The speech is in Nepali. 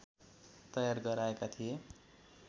तयार गराएका थिए